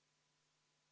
V a h e a e g